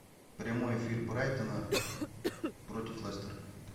прямой эфир брайтона против лестера